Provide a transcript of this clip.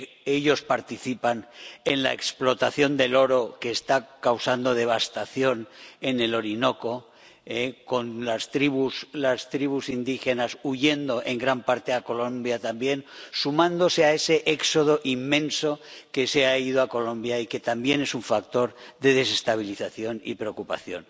Ellos participan en la explotación del oro que está causando devastación en el Orinoco, con las tribus indígenas huyendo en gran parte a Colombia también, sumándose a ese éxodo inmenso que se ha ido a Colombia y que también es un factor de desestabilización y preocupación.